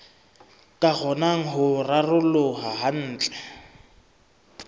ka kgonang ho raroloha kantle